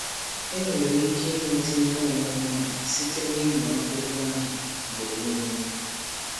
Enwere ike um inweta ihe ọmụma a site n’ịmụ akwụkwọ ahụ um mgbe um niile.